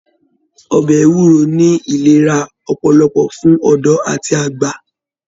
Ọbẹ ewúro ní ìlera ọpọlọpọ fún ọdọ àti àgbà.